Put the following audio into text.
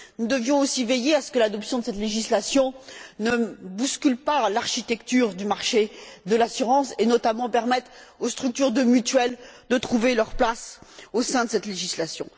Nous devions aussi veiller à ce que l'adoption de cette législation ne bouscule pas l'architecture du marché de l'assurance et, notamment, permette aux structures de mutuelles de trouver leur place au sein de cette législation.